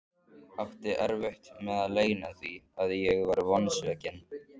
Átti erfitt með að leyna því að ég var vonsvikinn.